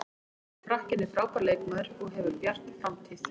Frakkinn er frábær leikmaður og hefur bjarta framtíð.